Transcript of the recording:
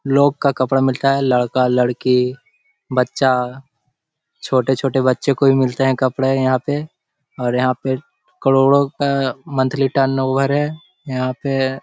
लोग का कपड़ा मिलता है लड़का-लड़की बच्चा छोटे-छोटे बच्चों को भी मिलते हैं कपड़े यहाँ पे और यहाँ पे करोड़ो का मंथली टर्नओवर है यहाँ पे --